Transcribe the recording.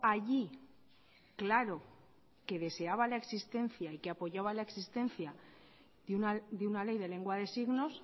allí claro que deseaba la existencia y que apoyaba la existencia de una ley de lengua de signos